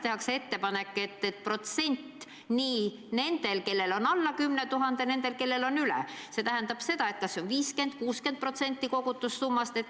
Tehakse ettepanek, et nii nendel, kellel on alla 10 000 euro, kui ka nendel, kellel on üle selle, makstaks korraga välja kas 50 või 60% kogutud summast.